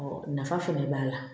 nafa fɛnɛ b'a la